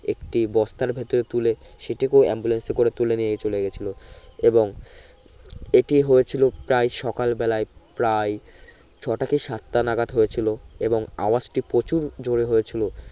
একটি বস্তার ভিতরে তুলে সেটিকেও ambulance এ করে তুলে নিয়ে চলে গেছিলো এবং এটি হয়েছিলো প্রায় সকাল বেলায় প্রায় ছো টা কি সাতটা নাগাত হয়েছিলো এবং আওয়াজটি প্রচুর জোরে হয়েছিলো